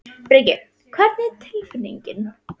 Breki: Hvernig er tilfinningin?